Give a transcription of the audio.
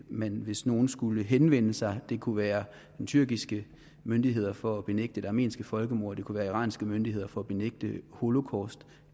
man hvis nogen skulle henvende sig det kunne være tyrkiske myndigheder for at benægte det armenske folkemord det kunne være iranske myndigheder for at benægte holocaust